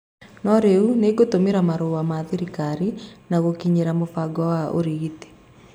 no rĩu nĩgũtũmĩra marũa ma thirikari na gũkinyĩra mũbango wa ũgĩtĩri